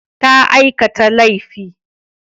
Ta aikata laifi.